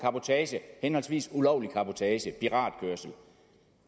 henholdsvis og ulovlig cabotage piratkørsel